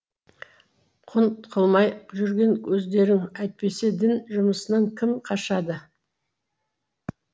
құнт қылмай жүрген өздерің әйтпесе дін жұмысынан кім қашады